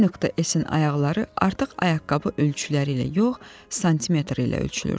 N.S-in ayaqları artıq ayaqqabı ölçüləri ilə yox, santimetr ilə ölçülürdü.